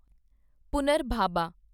ਪੁਨਰਭਾਬਾ